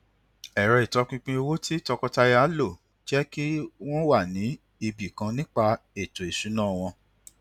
ẹrọ ìtọpinpin owó tí tọkọtaya lò jẹ kí wọn wà ní ibi kan nípa ètò ìṣúná wọn